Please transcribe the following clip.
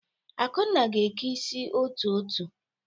Akunna ga-eke isi otu-otu.